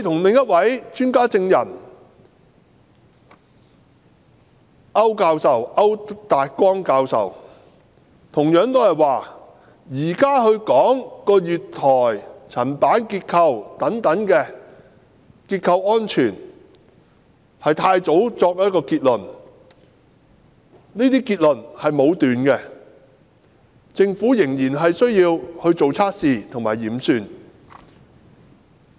另一位專家證人區達光教授同樣說，現時確認月台層板等結構安全是太早作出結論和武斷，政府仍然需要作測試及驗算。